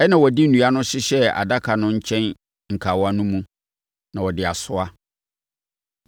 Ɛnna wɔde nnua no hyehyɛɛ adaka no nkyɛn nkawa no mu, na wɔde asoa.